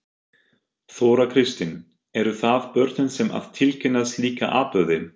Þóra Kristín: Eru það börnin sem að tilkynna slíka atburði?